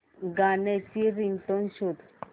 गाण्याची रिंगटोन शोध